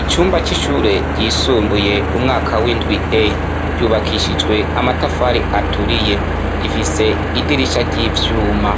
Icumba c'ishure ryisumbuye umwaka w'indwi e ryubakishijwe amatafari aturiye rifise idirisha ry'ivyuma